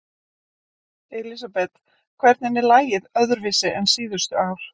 Elísabet: Hvernig er lagið öðruvísi en síðustu ár?